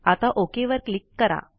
आता ओक वर क्लिक करा